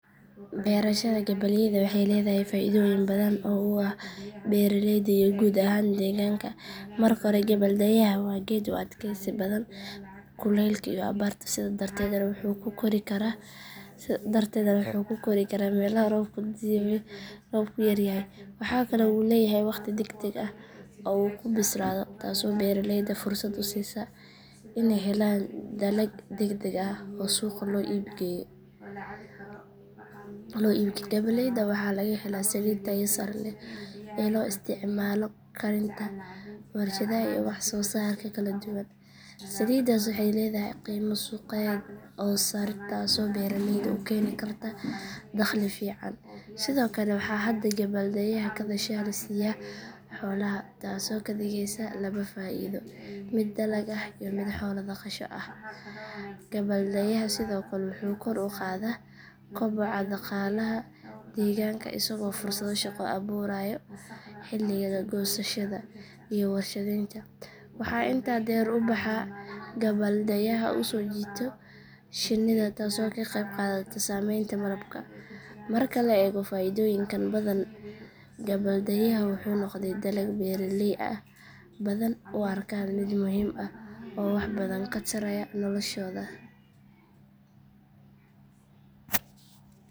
Barashada gabbaldayaha waxay leedahay faa’iidooyin badan oo ah beeraleyda iyo guud ahaan deegaanka. Marka hore, gabbaldayuhu waa geed u adkaysi badan abaaraha iyo kuleylka, sidaa darteed wuxuu ku kori karaa meelaha ay roobka ku yaryahay. Waxa kale oo uu leeyahay waqti degdeg ah uu ku bislaado, taas oo beeraleyda fursad u siiso in ay helaan dalag degdeg ah oo suuq la geeyo. Gabbaldayaha waxaa laga helaa saliid tayo leh oo loo isticmaalo karinta, warshadaha, iyo wax-soo-saarka kala duwan. Saliiddaas waxay leedahay qiimo suuq oo sarreeya, taas oo beeraleydu u keeni karto dakhli fiican. Waxaa kale oo gabbaldayaha ka dasha la siiyo xoolaha, taas oo ka dhigeysa labo faa’iido: mid dalag ah iyo mid xoolo daaqasho ah. Gabbaldayuhu wuxuu sidoo kale kor u qaadaa kobaca dhaqaalaha, isagoo fursado shaqo abuurayo xilliga goosashada iyo warshadaynta. Waxaa intaa u dheer soo jiidashada shinnida, taas oo ka qeyb qaadato samaynta malabka. Marka la eego faa’iidooyinka faraha badan, gabbaldayuhu wuxuu noqday dalag beeraley ah iyo mid badan oo faa’iido ah, oo aan laga hadlin, oo waax badan ka tarayo noloshooda.